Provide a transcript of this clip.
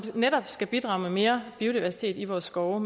netop skal bidrage med mere biodiversitet i vores skove